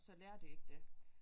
Så lærer de ikke der